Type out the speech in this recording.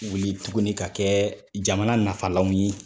Wuli tuguni ka kɛ jamana nafalanw ye